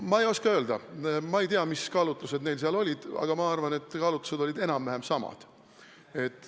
Ma ei oska öelda, ma ei tea, mis kaalutlused neil seal olid, aga ma arvan, et kaalutlused olid enam-vähem samad.